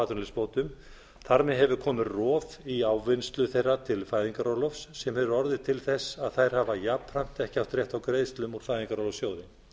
atvinnuleysisbótum þar með hefur komið rof í ávinnslu þeirra til fæðingarorlofs sem hefur orðið til þess að þær hafa jafnframt ekki átt rétt á greiðslum úr fæðingarorlofssjóði